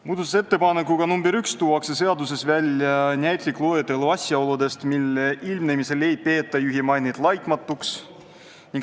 Muudatusettepaneku nr 1 kohaselt tuuakse seaduses välja näitlik loetelu asjaoludest, mille ilmnemisel ei peeta juhi mainet laitmatuks.